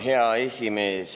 Hea esimees!